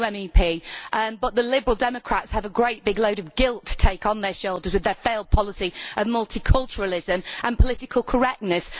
I am a new MEP. But the Liberal Democrats have a great big load of guilt to take on their shoulders with their failed policy on multiculturalism and political correctness.